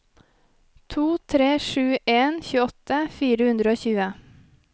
to tre sju en tjueåtte fire hundre og tjue